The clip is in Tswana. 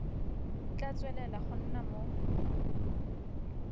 tla tswelela go nna mo